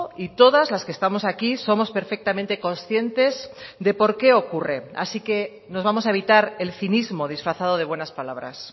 y todas las que estamos aquí somos perfectamente conscientes de por qué ocurre así que nos vamos a evitar el cinismo disfrazado de buenas palabras